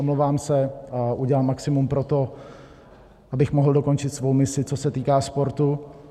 Omlouvám se a udělám maximum pro to, abych mohl dokončit svou misi, co se týká sportu.